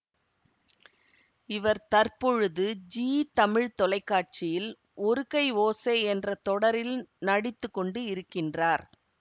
இவர் தற்பொழுது ஜீ தமிழ் தொலைக்காட்சியில் ஒரு கை ஓசை என்ற தொடரில் நடித்து கொண்டு இருக்கின்றார்